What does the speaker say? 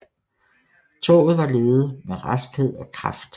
Toget var ledet med raskhed og kraft